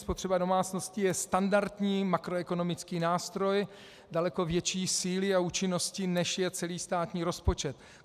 Spotřeba domácností je standardní makroekonomický nástroj daleko větší síly a účinnosti, než je celý státní rozpočet.